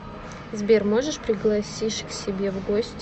сбер можешь пригласишь к себе в гости